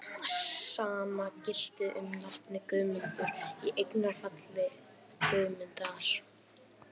Sama gilti um nafnið Guðmundur, í eignarfalli Guðmundar.